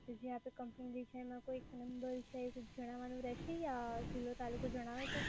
જે આપે કન્ફમ છે એનો જિલ્લો તાલુકો જણાવવાનો કે યા રહશે